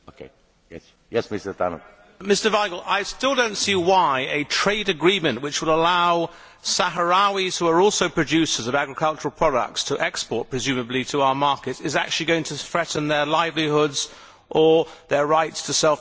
Mr Vajgl, I still do not see why a trade agreement which would allow Sahrawis, who are also producers of agricultural products, to export presumably to our markets is actually going to threaten their livelihoods or their rights to self determination.